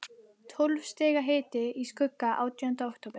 Tólf stiga hiti í skugga átjánda október.